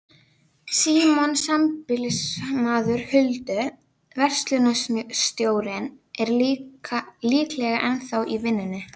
Símon, sambýlismaður Huldu, verslunarstjórinn, er líklega ennþá í vinnunni.